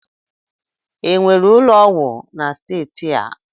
Enwere ụlọ ọgwụ na steeti a?